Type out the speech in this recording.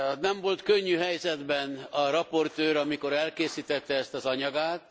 Nem volt könnyű helyzetben a raportőr, amikor elkészítette ezt az anyagát.